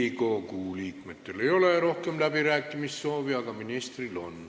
Riigikogu liikmetel ei ole rohkem läbirääkimissoovi, aga ministril on.